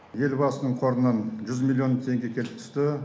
елбасының қорынан жүз миллион теңге келіп түсті